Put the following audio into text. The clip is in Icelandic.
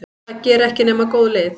Það gera ekki nema góð lið.